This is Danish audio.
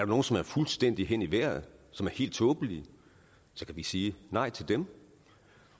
nogle som er fuldstændig hen i vejret som er helt tåbelige kan vi sige nej til dem